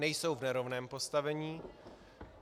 Nejsou v nerovném postavení.